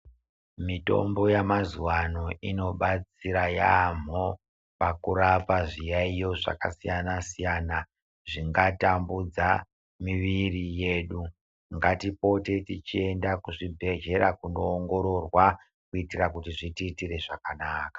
Mitombo yamazuwa ano inobatsira yambo pakurapa zviyayo zvakasiyana siyana zvingatamudza muviri yedu ngatipote techienda kuzvibhehleya kunoongororwa kutira kuti zvitiitire zvakanaka .